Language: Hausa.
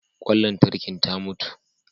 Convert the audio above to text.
Ƙwan lantarkin ta mutu.